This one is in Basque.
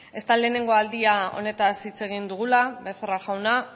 ez da lehengo aldia honetaz hitz egin dugula becerra jauna